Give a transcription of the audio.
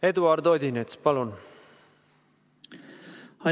Eduard Odinets, palun!